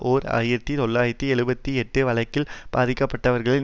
ஓர் ஆயிரத்தி தொள்ளாயிரத்து எழுபத்தி எட்டு வழக்கில் பாதிக்க பட்டவர்களின்